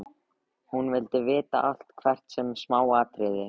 Hún vildi vita allt, hvert smáatriði.